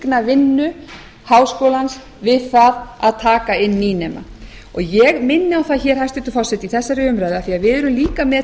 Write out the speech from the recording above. vinnu háskólans við það að taka inn nýnema og ég minni á það hér hæstvirtur forseti í þessari umræðu af því við erum með líka